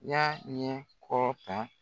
Y'a ɲɛ kɔ kan